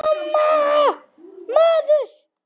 MAMMA, maður!